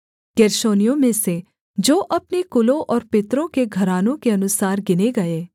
गेर्शोनियों में से जो अपने कुलों और पितरों के घरानों के अनुसार गिने गए